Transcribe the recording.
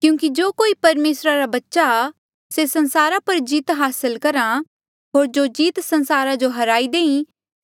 क्यूंकि जो कोई परमेसरा रा बच्चा आ से संसारा पर जीत हासल करहा होर जो जीत संसारा जो हराई देई